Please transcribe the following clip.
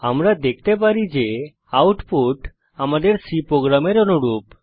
আমরা দেখতে পারি যে আউটপুট আমাদের C প্রোগ্রামের অনুরূপ